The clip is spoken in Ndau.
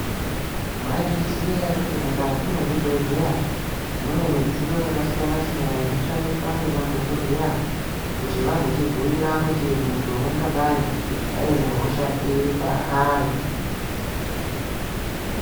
Mwaizviziya ere kuti mukati mwezvibhehleya mune midziyo yakasiyana siyana inoshandiswa ngemadhokodheya kuti vazotibhuira kuti muntu ungadei anehosha iri paari.